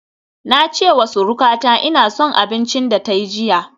Na ce wa surukata ina son abincin da ta yi jiya